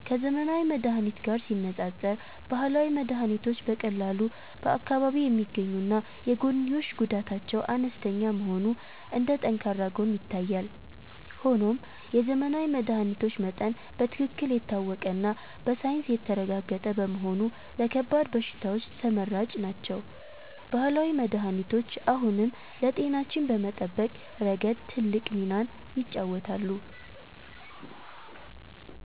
ከዘመናዊ መድኃኒት ጋር ሲነፃፀር፣ ባህላዊ መድኃኒቶች በቀላሉ በአካባቢ የሚገኙና የጎንዮሽ ጉዳታቸው አነስተኛ መሆኑ እንደ ጠንካራ ጎን ይታያል። ሆኖም የዘመናዊ መድኃኒቶች መጠን በትክክል የታወቀና በሳይንስ የተረጋገጠ በመሆኑ ለከባድ በሽታዎች ተመራጭ ናቸው። ባህላዊ መድኃኒቶች አሁንም ለጤናችን በመጠበቅ ረገድ ትልቅ ሚናን ይጫወታሉ።